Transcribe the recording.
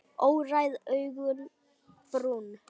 Óræð augun brún.